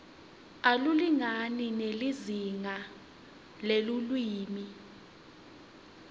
akulingani nelizingaa lelulwimi